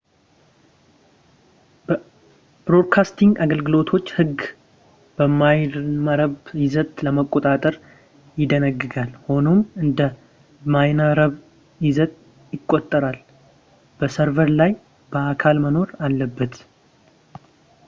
የብሮድካስቲንግ አገልግሎቶች ሕግ የበይነመረብ ይዘትን ለመቆጣጠር ይደነግጋል ፣ ሆኖም እንደ በይነመረብ ይዘት ይቆጠራል ፣ በሰርቨር ላይ በአካል መኖር አለበት